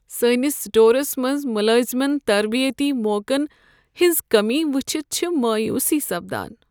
سٲنس سٹورس منٛز ملٲزمن تربیتی موقعن ہٕنٛز کٔمی وٕچھِتھ چھےٚ مایوٗسی سپدان۔